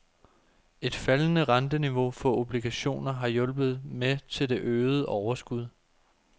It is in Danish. Et faldende renteniveau for obligationer har hjulpet med til det øgede overskud.